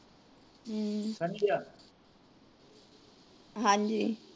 ਹਮ ਹਾਂਜੀ